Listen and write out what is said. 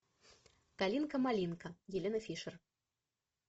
калинка малинка елена фишер